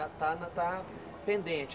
A está pendente?